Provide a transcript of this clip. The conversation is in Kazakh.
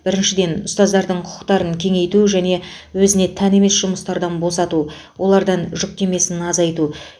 біріншіден ұстаздардың құқықтарын кеңейту және өзіне тән емес жұмыстардан босату олардың жүктемесін азайту